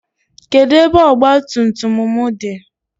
Kedụ ebe ọgba tum tum m dị?